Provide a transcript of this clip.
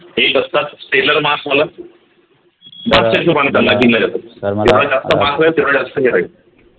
एक असतात तेवढ जास्त हे राहील